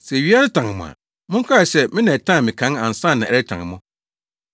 “Sɛ wiase tan mo a, monkae sɛ me na ɛtan me kan ansa na ɛretan mo.